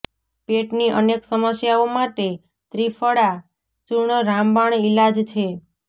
પેટની અનેક સમસ્યાઓ માટે ત્રિફળા ચૂર્ણ રામબાણ ઈલાજ છે